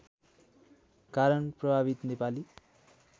कारण प्रभावित नेपाली